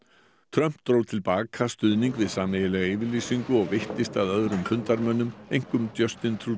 Trump dró til baka stuðning við sameiginlega yfirlýsingu og veittist að öðrum fundarmönnum einkum